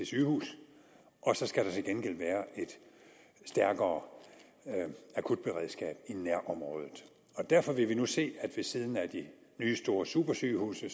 sygehus og så skal der til gengæld være et stærkere akutberedskab i nærområdet derfor vil vi nu se at der ved siden af de nye store supersygehuse